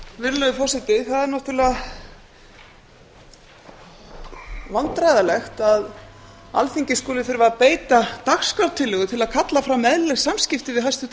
virðulegur forseti það er náttúrlega vandræðalegt að alþingi skuli þurfa að beita dagskrártillögu til að kalla fram eðlileg samskipti við hæstvirtan